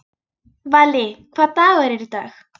Valý, hvaða dagur er í dag?